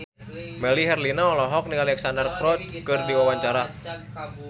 Melly Herlina olohok ningali Alexandra Roach keur diwawancara